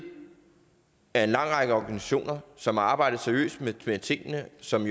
af en lang række organisationer som har arbejdet seriøst med tingene som